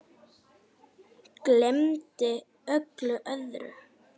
Gleymdi öllu öðru.